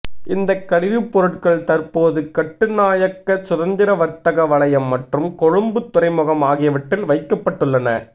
இந்த கழிவுப்பொருட்கள் தற்போது கட்டுநாயக்க சுதந்திர வர்த்தக வலயம் மற்றும் கொழும்பு துறைமுகம் ஆகியவற்றில் வைக்கப்பட்டுள்ளன